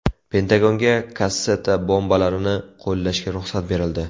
Pentagonga kasseta bombalarini qo‘llashga ruxsat berildi.